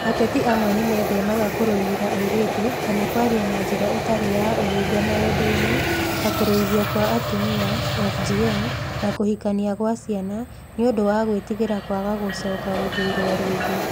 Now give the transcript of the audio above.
Ateti amwe nĩ methemaga kũrũĩrĩra airĩtu kana kwaria na njĩra ĩtarĩ ya ũhinga maũndũ-inĩ, ta Kũruithio kwa Atumia (FGM) na kũhikania gwa ciana, nĩ ũndũ wa gwĩtigĩra kwaga gũcoka gũthuurũo rĩngĩ.